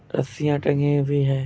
रस्सियाँ टंगी हुई है।